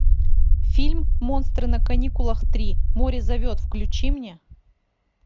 фильм монстры на каникулах три море зовет включи мне